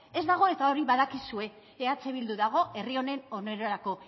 ez dago eta hori badakizue eh bildu dago herri honen onerako